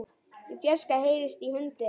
Í fjarska heyrist í hundi.